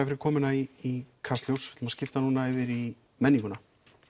fyrir komuna í Kastljós við að skipta núna yfir í menninguna